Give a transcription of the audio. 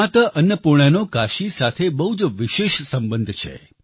માતા અન્નપૂર્ણાનો કાશી સાથે બહુ જ વિશેષ સંબંધ છે